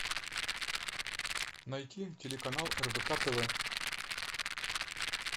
найти телеканал рбк тв